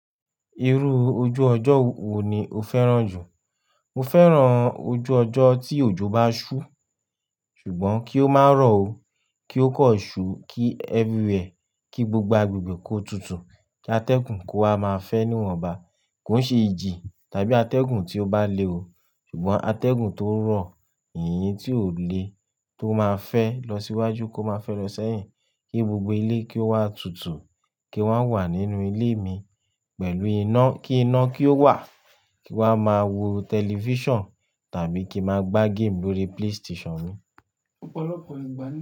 Irú ojú ọjọ́ wo ni o fẹ́ràn jù? Mo fẹ́ràn ojú ọjọ́ tí òjò bá ṣú ṣùgbọ́n kí ó má rọ̀ o, kí ó kọ ṣú kí everywhere kí gbogbo agbègbè kó tutù, kí atẹ́gùn kó wa máa fẹ́ níwọ̀nba, kó ṣe ìjì tàbí atẹ́gùn tí ó bá le oo ṣùgbọ́n atẹ́gùn tó rọ̀, ìyìn tí ó le tó máa fẹ́ lọ síwájú kó máa fẹ́ lọ sẹ́yìn, kí gbogbo ilé kí ó wá tutù, kí wá wà nínú ilé mi pẹ̀lú iná, kí iná kí ó wà kí wá máa wo tẹlifíṣàn tàbí kí a máa gbá game lórí PlayStation mi.